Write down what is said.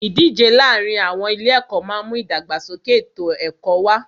Ìdíje láàárin àwọn ilé ẹ̀kọ́ máà ń mú ìdàgbàsókè ètò ẹ̀kọ́ wá.